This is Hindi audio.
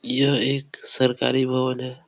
यह एक सरकारी भवन है।